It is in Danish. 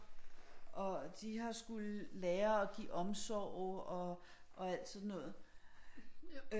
Og de har skullet lære at give omsorg og alt sådan noget